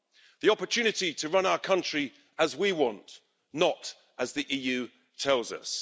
The opportunity to run our country as we want, not as the EU tells us.